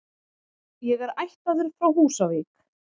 Ég er ættaður frá Húsavík.